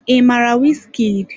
I mara Wizkid?